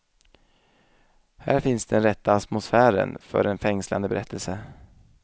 Här finns den rätta atmosfären för en fängslande berättelse.